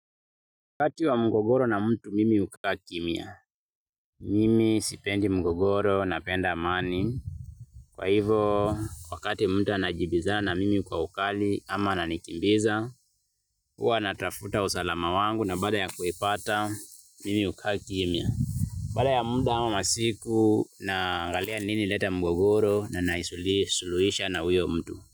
Wakati wa mgogoro na mtu mimi hukaa kimya, mimi sipendi mgogoro napenda amani, kwa hivo wakati mtu anajibizana na mimi kwa ukali ama ananikimbiza, huwa natafuta usalama wangu na baada ya kuipata mimi hukaa kimya. Baada ya muda ama masiku na angalia nini inaleta mgogoro na naisuluhisha na huyo mtu.